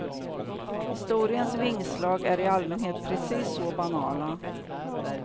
Historiens vingslag är i allmänhet precis så banala.